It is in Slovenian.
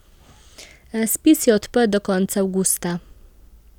Razpis je odprt do konca avgusta.